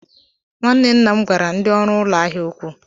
Nwanne nna m gwara ndị ọrụ ụlọ ahịa okwu.